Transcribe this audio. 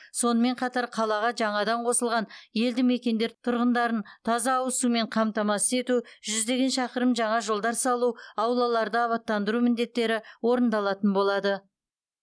сонымен қатар қалаға жаңадан қосылған елді мекендер тұрғындарын таза ауыз сумен қамтамасыз ету жүздеген шақырым жаңа жолдар салу аулаларды абаттандыру міндеттері орындалатын болады